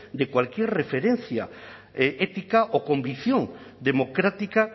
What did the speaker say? de cualquier referencia ética o convicción democrática